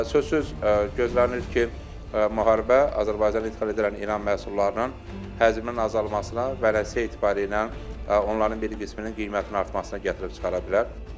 Sözsüz gözlənilir ki, müharibə Azərbaycanın idxal etdiyi İran məhsullarının həcminin azalmasına və nəticə etibarilə onların bir qisminin qiymətinin artmasına gətirib çıxara bilər.